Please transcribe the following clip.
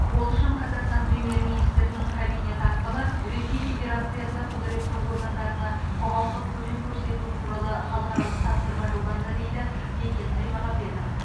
ол үшін қазақстан премьер министрінің кабинеті арқылы ресей федерациясы құзыретті органдарына құқықтық көмек көрсету туралы халықаралық тапсырма жолданды дейді бекет аймағамбетов